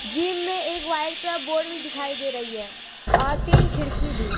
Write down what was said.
Gym में एक white colour का बोर्ड भी दिखाई दे रही है और तीन खिड़की भी।